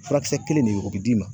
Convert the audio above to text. furakisɛ kelen de be o be d'i ma